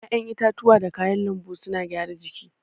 ya'yan itatuwa da kayan lanbu suna gyara jiki.